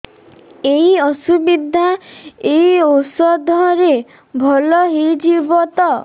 ଏଇ ଅସୁବିଧା ଏଇ ଔଷଧ ରେ ଭଲ ହେଇଯିବ ତ